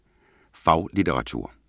Faglitteratur